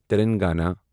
Telangana